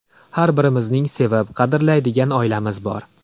Har birimizning sevib, qadrlaydigan oilamiz bor.